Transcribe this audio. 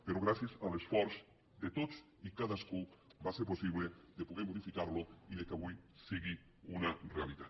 però gràcies a l’esforç de tots i cadascú va ser possible de poder modificar lo i que avui sigui una realitat